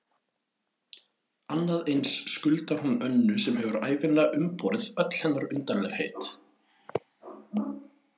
Annað eins skuldar hún Önnu sem hefur ævinlega umborið öll hennar undarlegheit.